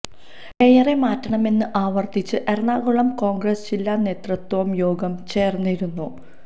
മേയറെ മാറ്റണമെന്ന് ആവര്ത്തിച്ച് എറണാകുളം കോണ്ഗ്രസ് ജില്ലാ നേതൃത്വവും യോഗം ചേര്ന്നിരുന്നു